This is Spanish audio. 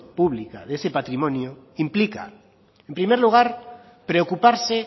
pública de ese patrimonio implica en primer lugar preocuparse